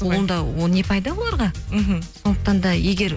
онда ол не пайда оларға мхм сондықтан да егер